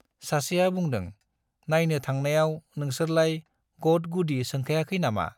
सासेया बुंदों, नाइनो थांनायाव नोंसोरलाय गद-गुदि सोंखायाखै नामा ?